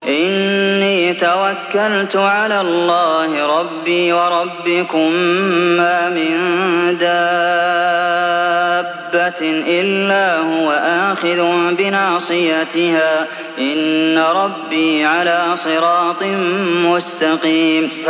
إِنِّي تَوَكَّلْتُ عَلَى اللَّهِ رَبِّي وَرَبِّكُم ۚ مَّا مِن دَابَّةٍ إِلَّا هُوَ آخِذٌ بِنَاصِيَتِهَا ۚ إِنَّ رَبِّي عَلَىٰ صِرَاطٍ مُّسْتَقِيمٍ